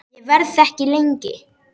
Ég verð ekki lengi